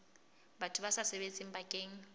batho ba sa sebetseng bakeng